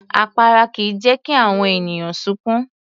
Àpárá kìí jẹ́ kí àwọn ènìyàn sunkún